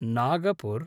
Nagpur